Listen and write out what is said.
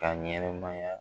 Ka ɲɛnɛmaya